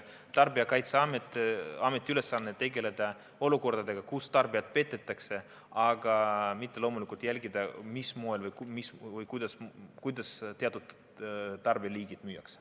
Tarbijakaitseameti ülesanne on tegeleda olukordadega, kus tarbijat petetakse, aga loomulikult mitte jälgida, mis moel või kuidas teatud kaubaliike müüakse.